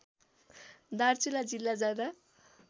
दार्चुला जिल्ला जाँदा